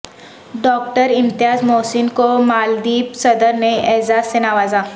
doctor Imtiaz Mohsin کو مالدیپ صدر نے اعزاز سے نوازا